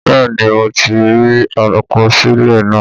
Bẹ́ẹ̀ ni, mo ti rí àkọsílẹ̀ náà